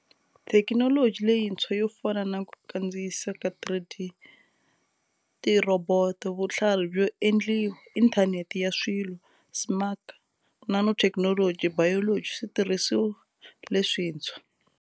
Thekinoloji leyintshwa yo fana na ku kandziyisa ka 3D, tirhoboto, vutlhari byo endliwa, Inthanete ya Swilo, SMAC, nanotechnology, biology, switirhisiwa leswintshwa.